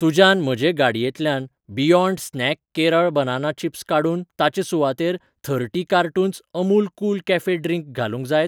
तुज्यान म्हजे गाडयेंतल्यान beyond snack Kerala banana chips काडून ताचे सुवातेर thirty cartons Amul cool cafe drink घालूंक जायत?